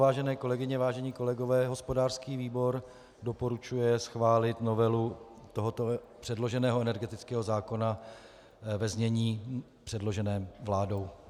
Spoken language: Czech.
Vážené kolegyně, vážení kolegové, hospodářský výbor doporučuje schválit novelu tohoto předloženého energetického zákona ve znění předloženém vládou.